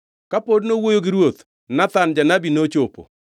Kapod nowuoyo gi ruoth, Nathan janabi nochopo.